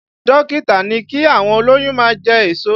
Dókítà ní kí àwọn olóyún máa jẹ èso